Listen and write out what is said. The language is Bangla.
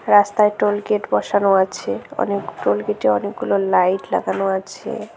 রাস্তায় টোলগেট বসানো আছে অনেক টোলগেট -এ অনেকগুলো লাইট লাগানো আছে।